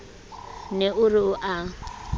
ne o re o a